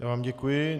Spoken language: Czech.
Já vám děkuji.